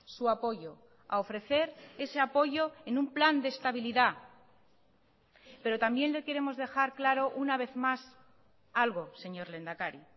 su apoyo a ofrecer ese apoyo en un plan de estabilidad pero también le queremos dejar claro una vez más algo señor lehendakari